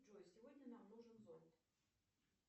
джой сегодня нам нужен зонт